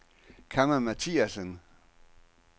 Kamma Mathiasen